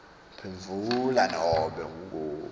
phendvula nobe nguwuphi